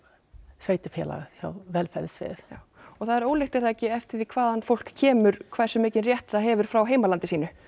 sveitarfélaginu hjá velferðarsviði já og það er ólíkt er það ekki eftir því hvaðan fólk kemur hversu mikinn rétt það hefur frá heimalandi sínu